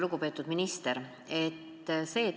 Lugupeetud minister!